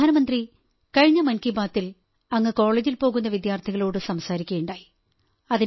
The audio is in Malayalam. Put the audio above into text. പ്രധാനമന്ത്രി കഴിഞ്ഞ മൻ കീ ബാത്തിൽ അങ്ങ് കോളജിൽ പോകുന്ന വിദ്യാർഥികളോടു സംസാരിക്കയുണ്ടായി